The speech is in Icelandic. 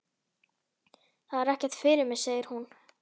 Það er ekkert fyrir mig, segir hún.